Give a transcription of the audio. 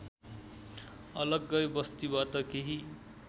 अलग्गै बस्तीबाट केही